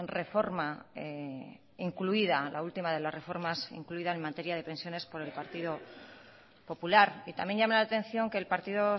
reforma incluida la últimas de las reformas incluidas en materia de pensiones por el partido popular y también llama la atención que el partido